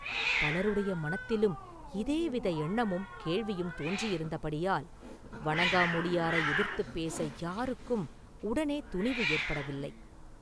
பலருடைய மனத்திலும் இதே வித எண்ணமும் கேள்வியும் தோன்றியிருந்தபடியால், வணங்காமுடியாரை எதிர்த்துப் பேச யாருக்கும் உடனே துணிவு ஏற்படவில்லை.